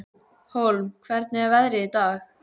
Hólm, hvernig er veðrið í dag?